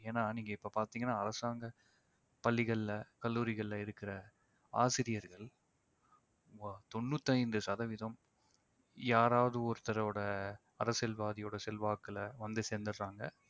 ஏன்னா நீங்க இப்ப பாத்தீங்கன்னா அரசாங்க பள்ளிகள்ல கல்லூரிகள்ல இருக்கிற ஆசிரியர்கள் ஒ~ தொண்ணூத்தைந்து சதவிதம் யாராவது ஒருத்தரோட அரசியல்வாதியோட செல்வாக்குல வந்து சேர்ந்துடறாங்க